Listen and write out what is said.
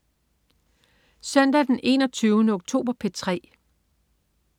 Søndag den 21. oktober - P3: